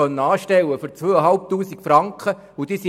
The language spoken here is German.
Wir konnten Ungelernte für 2500 Franken anstellen;